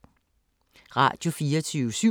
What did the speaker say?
Radio24syv